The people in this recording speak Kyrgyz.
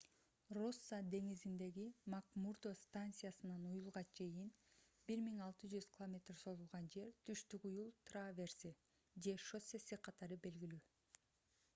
росса деңизиндеги макмурдо станциясынан уюлга чейин 1600 км созулган жер — түштүк уюл траверси же шоссеси катары белгилүү